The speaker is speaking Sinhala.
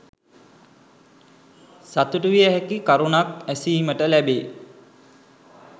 සතුටුවිය හැකි කරුණක් ඇසීමට ලැබේ.